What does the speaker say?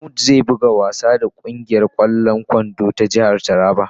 ""Mamud zai buga wasa da kungiyar kwallon kwando ta jihar Taraba ."